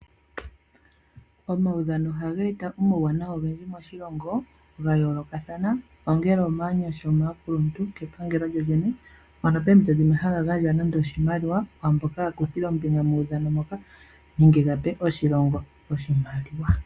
Omaudhano ohaga eta omauwanawa ogendji moshilongo ga yoolokathana ongele omaanyasha, omaakuluntu nenge kepangelo lyolyene, mpono poompito dhimwe ha ga gandja nande oshimaliwa kwaa mboka ya kuthile ombinga methigathano nenge ga pe oshilongo oshimaliwa.